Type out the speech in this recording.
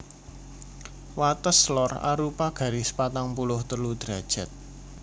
Wates lor arupa garis patang puluh telu derajat